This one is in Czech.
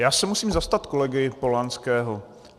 Já se musím zastat kolegy Polanského.